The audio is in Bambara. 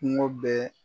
Kungo bɛɛ